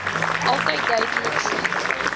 altyd duidelik sigbaar